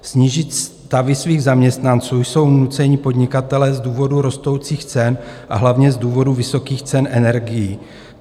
Snížit stavy svých zaměstnanců jsou nuceni podnikatelé z důvodu rostoucích cen, a hlavně z důvodu vysokých cen energií.